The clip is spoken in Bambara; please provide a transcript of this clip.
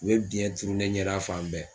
U ye biyɛn turu ne ɲɛda fan bɛɛ